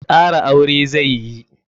Kara aure zai yi.